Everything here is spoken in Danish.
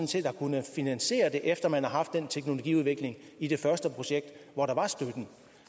set har kunnet finansiere det efter man har haft den teknologiudvikling i det første projekt hvor der var støtte